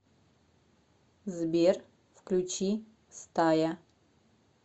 сбер включи стая